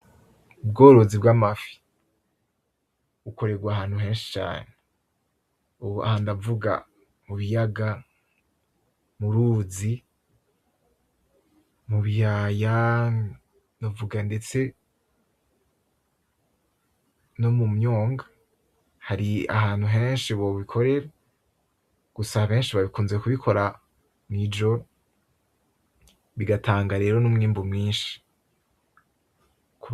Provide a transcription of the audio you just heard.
Ubworozi bw' amafi bukoregwa ahantu henshi cane. Ubu aha ndavuga; mubiyaga, muruzi, mubiyaya, novuga ndetse nomumyonga. Hari ahantu henshi bobikorera, gusa benshi bakunze kubikora mwijora bigatanga rero numwimbu mwishi.